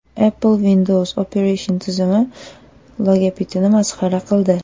Apple Windows operatsion tizimi logotipini masxara qildi.